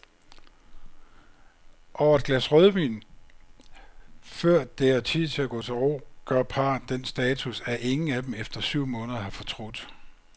Over et glas rødvin, før det er tid at gå til ro, gør parret den status, at ingen af dem efter syv måneder har fortrudt.